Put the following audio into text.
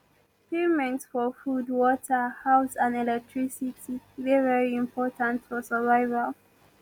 payment for food water house and electricity dey very important for survival